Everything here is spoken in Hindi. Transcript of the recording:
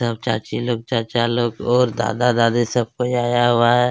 सब चाचा लोग चाची लोग और दादा-दादी सब कोई आया हुआ है।